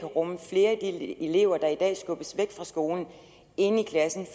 rumme flere af de elever der i dag skubbes væk fra skolen inde i klassen